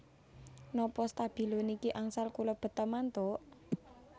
Nopo stabilo niki angsal kula beta mantuk